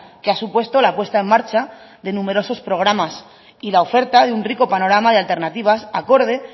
que ha supuesto la puesta en marcha de numerosos programas y la oferta de un rico panorama de alternativas acorde